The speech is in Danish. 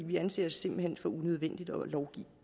vi anser det simpelt hen for unødvendigt at lovgive